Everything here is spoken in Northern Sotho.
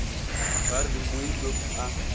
ba re mooi loop a